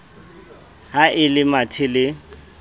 ha e le mathe le